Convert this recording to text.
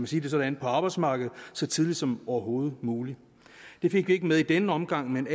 sige det sådan på arbejdsmarkedet så tidligt som overhovedet muligt det fik vi ikke med i denne omgang men